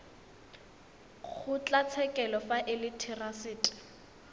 kgotlatshekelo fa e le therasete